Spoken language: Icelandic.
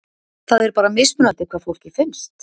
Það er bara mismunandi hvað fólki finnst?